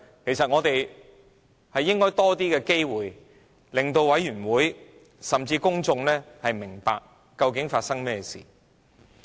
其實，我們應有更多的機會，令法案委員會委員甚至公眾明白究竟發生甚麼事。